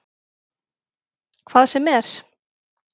Hvað sem er?